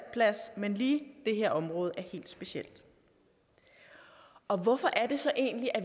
men lige det her område er helt specielt og hvorfor